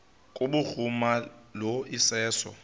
kubhuruma lo iseso